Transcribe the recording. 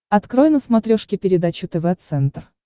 открой на смотрешке передачу тв центр